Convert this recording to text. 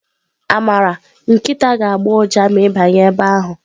Amara nkịta ga-agbọ ụja ma ị banye ebe ahụ.